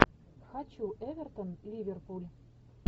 хочу эвертон ливерпуль